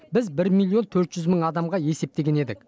біз бір миллион төрт жүз мың адамға есептеген едік